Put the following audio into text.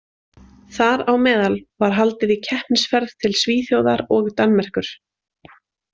Þar á meðal var haldið í keppnisferð til Svíþjóðar og Danmerkur.